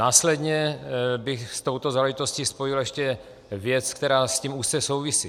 Následně bych s touto záležitostí spojil ještě věci, které s tím úzce souvisí.